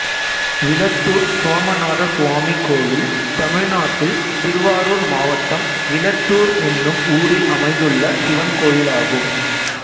விளத்தூர் சோமநாதசுவாமி கோயில் தமிழ்நாட்டில் திருவாரூர் மாவட்டம் விளத்தூர் என்னும் ஊரில் அமைந்துள்ள சிவன் கோயிலாகும்